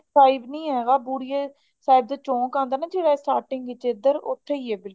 ਬੁੜਿਆ ਸਾਹਿਬ ਨੀ ਹੈਗਾ ਬੁੜਿਆ ਸਾਹਿਬ ਦਾ ਚੋਂਕ ਆਉਂਦਾ ਨਾ ਜਿਹੜਾ starting ਵਿੱਚ ਇਧਰ ਉੱਥੇ ਹੀ ਹੈ